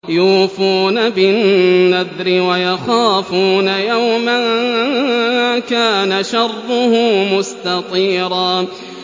يُوفُونَ بِالنَّذْرِ وَيَخَافُونَ يَوْمًا كَانَ شَرُّهُ مُسْتَطِيرًا